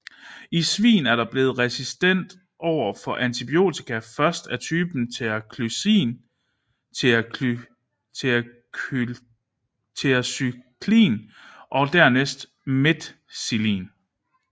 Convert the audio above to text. I svin er den blevet resistent over for antibiotika først af typen tetracyklin og dernæst methicillin